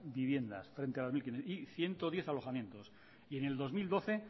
viviendas frente a las mil quinientos y ciento diez alojamientos y en el dos mil doce